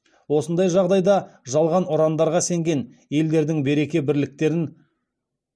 осындай жағдайда жалған ұрандарға сенген елдердің береке бірліктерін